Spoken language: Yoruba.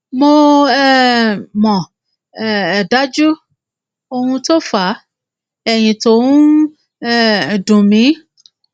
mo um mọ um dájú ohun tó fa ẹyìn tó ń um dùn mí